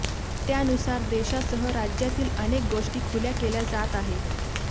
त्यानुसार देशासह राज्यातील अनेक गोष्टी खुल्या केल्या जात आहेत